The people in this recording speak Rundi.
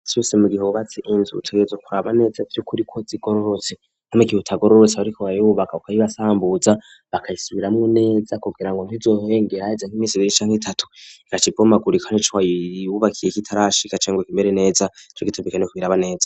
mu gihe cose wubatse Inzu utegezwa kuraba neza vy'ukuri ko zigororotse, mu gihe zitagororotse bariko barubaka ukayibasambuza bakayisubiramwo neza kugira ngo ntizohengere haze nk'imisi ibiri canke itatu igaca ibomagurika ico wayubakiye kitarashika canke ngo kimere neza nico gituma co kubiraba neza.